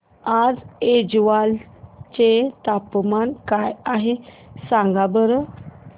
आज ऐझवाल चे तापमान काय आहे सांगा बरं